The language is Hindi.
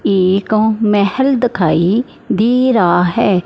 एक अं महल दिखाई दे रहा है।